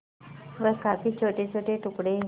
वह काफी छोटेछोटे टुकड़े